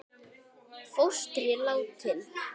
Fóstri látinn.